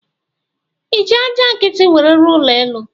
Iji aja nkiti nwere rụọ ụlọ elu?